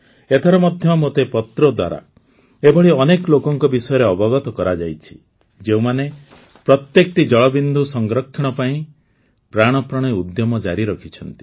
ଏଥର ମଧ୍ୟ ମୋତେ ପତ୍ର ଦ୍ୱାରା ଏଭଳି ଅନେକ ଲୋକଙ୍କ ବିଷୟରେ ଅବଗତ କରାଯାଇଛି ଯେଉଁମାନେ ପ୍ରତ୍ୟେକଟି ଜଳବିନ୍ଦୁ ସଂରକ୍ଷଣ ପାଇଁ ପ୍ରାଣପଣେ ଉଦ୍ୟମ ଜାରି ରଖିଛନ୍ତି